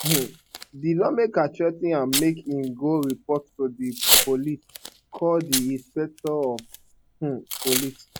um di lawmaker threa ten am make im go report to di police call di inspector general of um police